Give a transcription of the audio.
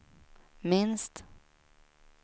minst